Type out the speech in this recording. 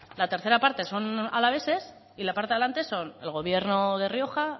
la tercera parte son alaveses y la parte de delante son el gobierno de rioja